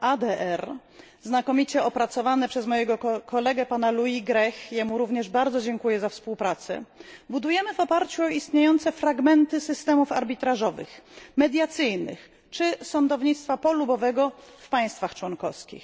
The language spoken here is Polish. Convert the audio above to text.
ADR, znakomicie opracowane przez mojego kolegę, pana Louisa Grecha jemu również bardzo dziękuję za współpracę budujemy w oparciu o istniejące fragmenty systemów arbitrażowych, mediacyjnych czy sądownictwa polubownego w państwach członkowskich.